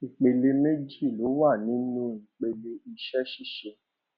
ìpele méjì ló wà nínú ìpele ìṣẹṣíṣe